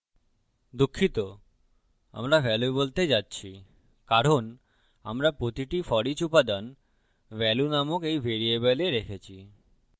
দুঃখিত আমরা value বলতে যাচ্ছি কারণ আমরা প্রতিটি foreach উপাদান value নামক এই ভ্যারিয়েবলে রেখেছি